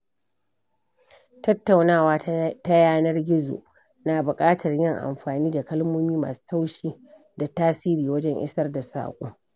Tattaunawa ta yanar gizo ya na buƙatar yin amfani da kalmomi masu taushi da tasiri wajen isar da saƙo.